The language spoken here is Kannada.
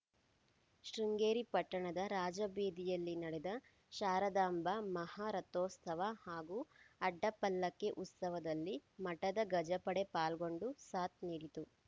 ಶೃಂಗೇರಿ ಪಟ್ಟಣದ ರಾಜಬೀದಿಯಲ್ಲಿ ನಡೆದ ಶಾರದಾಂಬಾ ಮಹಾರಥೋತ್ಸವ ಹಾಗೂ ಅಡ್ಡಪಲ್ಲಕ್ಕಿ ಉತ್ಸವದಲ್ಲಿ ಮಠದ ಗಜಪಡೆ ಪಾಲ್ಗೊಂಡು ಸಾಥ್‌ ನೀಡಿತು